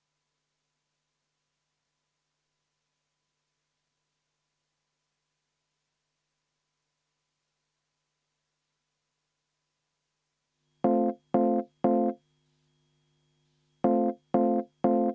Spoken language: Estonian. Aga kuna meil muid kaitsevõimalusi ei ole, siis me peame arutama seda olukorda, mis on kujunenud, ja seda, millised on meie võimalused oma õiguste kaitseks.